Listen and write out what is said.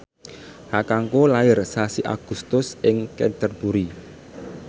kakangku lair sasi Agustus ing Canterbury